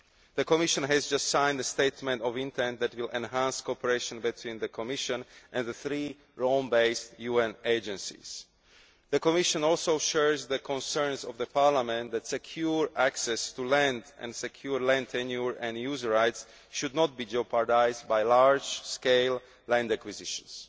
The Commission has just signed a statement of intent that will enhance cooperation between the Commission and the three Rome based UN agencies. The Commission also shares the concerns of the Parliament that secure access to land and secure land tenure and user rights should not be jeopardised by large scale land acquisitions.